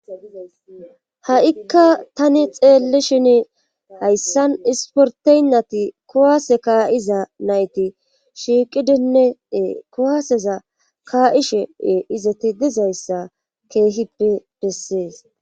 Ha7ikka tani xeelle shini hayssan isporteynnati kuwaase kaa7iza nayti shiiqidineee kuwaaseza kaa7ishe e izati dizayssa keehippe bessees.